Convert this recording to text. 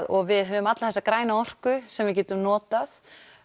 og við höfum alla þessa grænu orku sem við getum notað